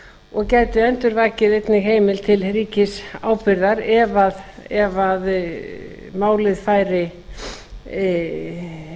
og gæti endurvakið einnig heimild til ríkisábyrgðar ef málið færi í